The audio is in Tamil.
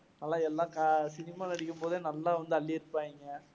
சினிமால நடிக்கும்போதே நல்லா வந்து அள்ளி இருப்பாங்க